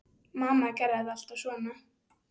Mamma gerði þetta alltaf svona.